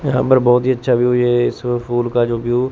यहां पर बहुत ही अच्छा व्यू ये इस फूल का जो व्यू --